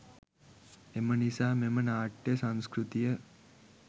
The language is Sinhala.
එම නිසා මෙම නාට්‍යය සංස්කෘතිය